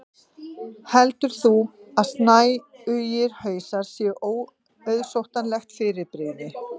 heldur þú að snæugir hausar séu óauðsóttlegt fyrirbrigði